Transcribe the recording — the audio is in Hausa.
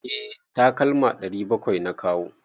Eh takalma 700 na kawo.